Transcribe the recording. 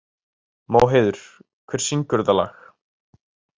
Móheiður, hver syngur þetta lag?